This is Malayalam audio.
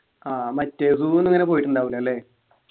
ആഹ് മറ്റേ zoo ഒന്നും അങ്ങന പോയിട്ടിണ്ടാവൂല അല്ലേ